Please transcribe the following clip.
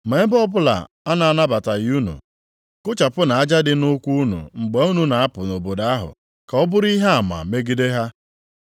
Ma ebe ọbụla a na-anabataghị unu, kụchapụnụ aja dị nʼụkwụ unu mgbe unu na-apụ nʼobodo ahụ, ka ọ bụrụ ihe ama megide ha.”